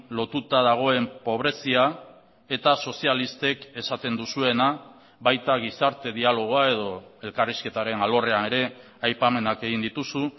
lotuta dagoen pobrezia eta sozialistek esaten duzuena baita gizarte dialogoa edo elkarrizketaren alorrean ere aipamenak egin dituzu